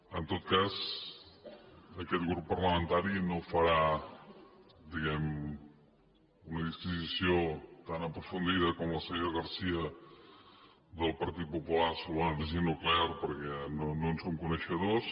en tot cas aquest grup parlamentari no farà diguem ne una disquisició tan aprofundida com la senyora garcia del partit popular sobre l’energia nuclear perquè no en som coneixedors